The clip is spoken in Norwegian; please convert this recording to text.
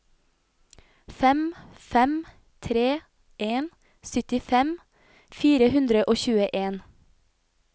fem fem tre en syttifem fire hundre og tjueen